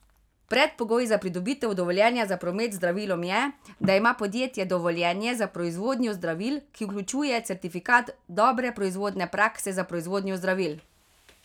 Predpogoj za pridobitev dovoljenja za promet z zdravilom je, da ima podjetje dovoljenje za proizvodnjo zdravil, ki vključuje certifikat dobre proizvodne prakse za proizvodnjo zdravil.